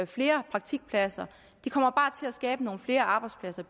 flere praktikpladser det kommer bare til at skabe nogle flere arbejdspladser